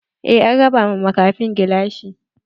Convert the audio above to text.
Eh an raba ma makafin gilashi.